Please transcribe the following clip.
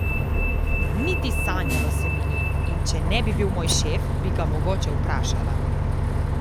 Niti sanjalo se mi ni, in če ne bi bil moj šef, bi ga mogoče vprašala.